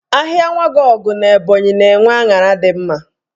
Ahịa Nwagọugo n'Ebọnyị na-enwe aṅara dị mma.